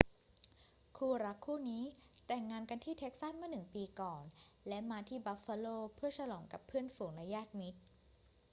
คู่รักคู่นี้แต่งงานกันที่เท็กซัสเมื่อหนึ่งปีก่อน และมาที่บัฟฟาโลเพื่อฉลองกับเพื่อนฝูงและญาติมิตร